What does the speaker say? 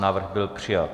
Návrh byl přijat.